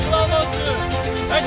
Bayrağı dağlara doğru.